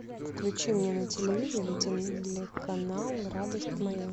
включи мне на телевизоре телеканал радость моя